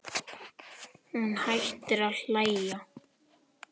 Hún hættir að hlæja.